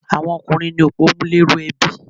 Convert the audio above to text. Àwọn ọkùnrín ní opòmúléró ebi